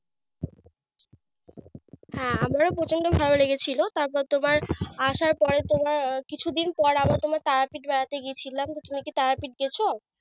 হ্যাঁ আমারও প্রচন্ড ভালো লেগেছিল। তারপর তোমার আসার পরে তোমার কিছু দিন পরে তোমার তারাপীঠ বেড়াতে গিছিলাম। তুমি কি তারাপীঠ গেছ?